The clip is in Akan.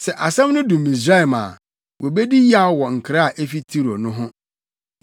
Sɛ asɛm no du Misraim a, wobedi yaw wɔ nkra a efi Tiro no ho.